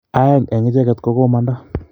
aeng en icheget ko komanda